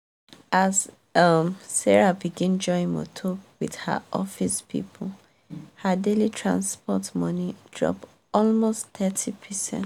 as um sarah begin join motor with her office people her daily transport money drop almost thirty percent.